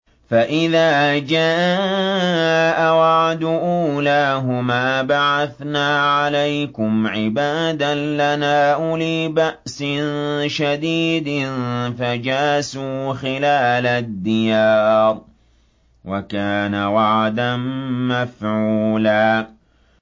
فَإِذَا جَاءَ وَعْدُ أُولَاهُمَا بَعَثْنَا عَلَيْكُمْ عِبَادًا لَّنَا أُولِي بَأْسٍ شَدِيدٍ فَجَاسُوا خِلَالَ الدِّيَارِ ۚ وَكَانَ وَعْدًا مَّفْعُولًا